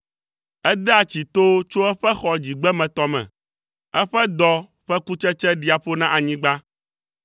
Edea tsi towo tso eƒe xɔ dzigbemetɔ me; eƒe dɔ ƒe kutsetse ɖia ƒo na anyigba.